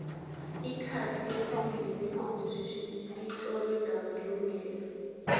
ikasi lesibili leconstitution litlotlwe ngemahingelo